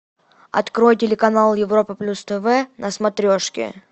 открой телеканал европа плюс тв на смотрешке